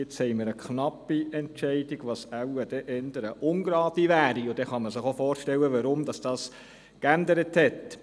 Jetzt haben wir eine knappe Entscheidung, was dann wohl eher eine ungerade Stimmenzahl wäre, und dann kann man sich auch vorstellen, weshalb es sich geändert hat.